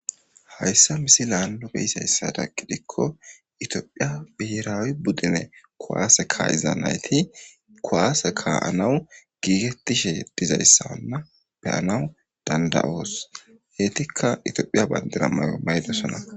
Hysa misilan nu beyizaysada gidiko etophiya birawi budune kuwase ka'iza nayti kuwase ka'anaw gigetishe dizaysana be'anaw danda'os itika etophiya badira mayo mayidosona